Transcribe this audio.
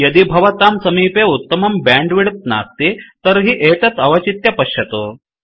यदि भवतां समीपे उत्तमं बैण्डविड्थ नास्ति तर्हि एतत् अवचित्य पश्यतु